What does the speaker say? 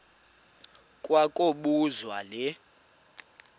kwa kobuzwa le